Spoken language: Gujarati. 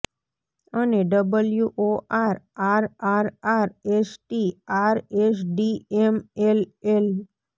અને W O R R R R S T R S D M L L